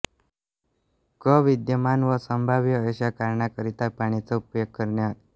क विद्यमान व संभाव्य अशा कारणांकरिता पाण्याचा उपयोग करणे